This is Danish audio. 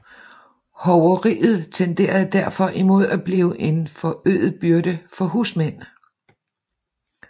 Hoveriet tenderede derfor imod at blive en forøget byrde for husmænd